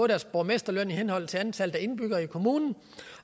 deres borgmesterløn i henhold til antallet af indbyggere i kommunen